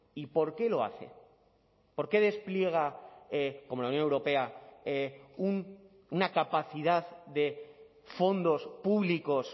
y por qué lo hace por qué despliega como la unión europea una capacidad de fondos públicos